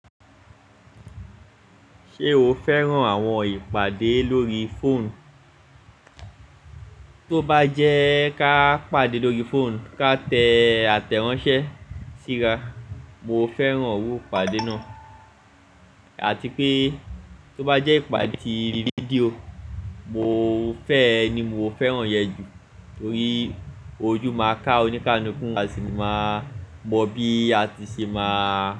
Ṣé o fẹ́ràn àwọn ìpàdé lórí fóònù? Tó bá jẹ́ ká pàdé lórí fóònù, ká tẹ àtẹ̀ránsẹ́ síra, mo fẹ́ràn oru ìpàdé náà àti pé tó bá jẹ́ ìpàdé ti fídíò, mo fẹ́ ẹ ni mo fẹ́ràn yẹn jù torí ojú máa ká oníkánúkú àsi máa mọ bí a ti ṣe máa.